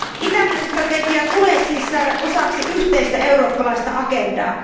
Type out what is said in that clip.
Itämeri strategia tulee siis saada osaksi yhteistä eurooppalaista agendaa.